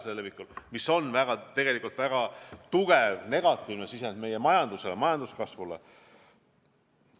See on tegelikult väga tugev negatiivne sisend meie majanduse, meie majanduskasvu seisukohast.